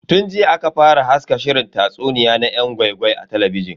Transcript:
Tun jiya aka fara haska shirin tatsuniya na yan gwai-gwai a talabijin.